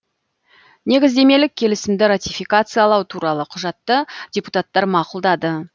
негіздемелік келісімді ратификациялау туралы құжатты депутаттар мақұлдады